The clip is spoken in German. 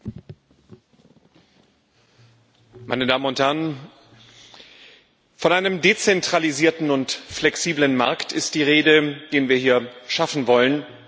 Herr Präsident, meine Damen und Herren! Von einem dezentralisierten und flexiblen Markt ist die Rede, den wir hier schaffen wollen.